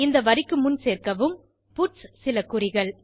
இந்த வரிக்கு முன் சேர்க்கவும் பட்ஸ் சில குறிகள்